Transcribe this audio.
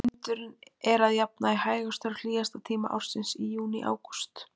Vindurinn er að jafnaði hægastur á hlýjasta tíma ársins, í júní-ágúst.